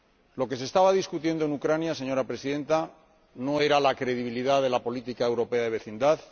Lo que se estaba discutiendo en Ucrania, señora Presidenta, no era la credibilidad de la política europea de vecindad